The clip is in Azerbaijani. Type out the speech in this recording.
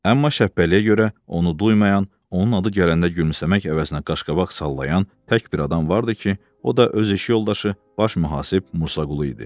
Amma Şəpbəliyə görə onu duymayan, onun adı gələndə gülümsəmək əvəzinə qaşqabaq sallayan tək bir adam vardı ki, o da öz iş yoldaşı baş mühasib Musa Qulu idi.